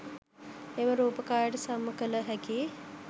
එම රූප කායට සම කල හැකි